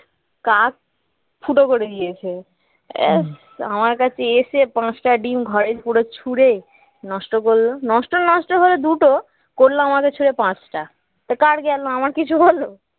কাক ফুটো করে দিয়েছে ব্যস্ আমার কাছে এসে পাঁচটা ডিম ঘরে পুরো ছুঁড়ে নষ্ট করলো নষ্টর নষ্ট হল দুটো করলো আমাদের ছুঁড়ে পাঁচটা তো কার গেল আমার কিছু হল